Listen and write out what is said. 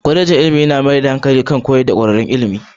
Kwalejin ilimi ta mayar da hankali kan horar da kwararrun ilimi